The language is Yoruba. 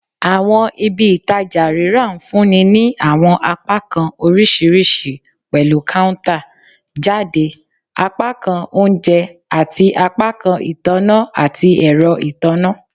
Awọn ibi-itaja rira nfunni ni awọn apakan oriṣiriṣi pẹlu counter-jade, apakan ounjẹ, ati apakan itanna ati ẹrọ itanna